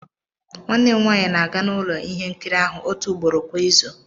Nwanne m nwanyị na-aga n'ụlọ ihe nkiri ahụ ótu ugbóró kwa izu